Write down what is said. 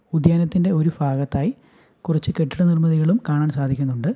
ഉദ്യാനത്തിന്റെ ഒരു ഫാഗത്തായി കുറച്ച് കെട്ടിട നിർമ്മിതികളും കാണാൻ സാധിക്കുന്നുണ്ട്.